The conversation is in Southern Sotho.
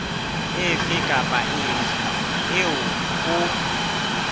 efe kapa efe eo ho